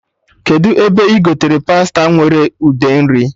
Kedụ ebe ị gotere pasta nwere ude nri?